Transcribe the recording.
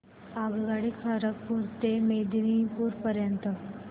आगगाडी खरगपुर ते मेदिनीपुर पर्यंत